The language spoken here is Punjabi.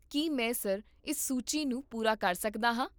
ਕੀ ਮੈਂ, ਸਰ, ਇਸ ਸੂਚੀ ਨੂੰ ਪੂਰਾ ਕਰ ਸਕਦਾ ਹਾਂ?